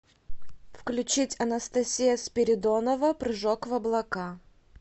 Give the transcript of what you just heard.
включить анастасия спиридонова прыжок в облака